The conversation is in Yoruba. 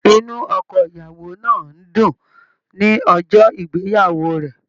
Inú ọkọ ìyàwó náà n dùn ní ọjọ ìgbéyàwó rẹ.